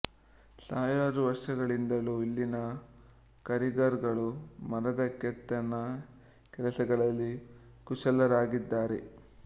ಸಾವಿರಾರು ವರ್ಷಗಳಿಂದಲೂ ಇಲ್ಲಿನ ಕಾರೀಗರ್ ಗಳು ಮರದ ಕೆತ್ತನೆ ಕೆಲಸಗಳಲ್ಲಿ ಕುಶಲರಾಗಿದ್ದಾರೆ